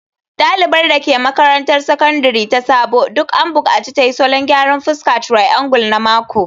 Dalibar da ke makarantar Sakandare ta Sabo duk an bukaci ta yi salon gyaran fuska triangle na mako